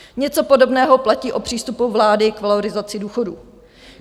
Něco podobného platí o přístupu vlády k valorizaci důchodů.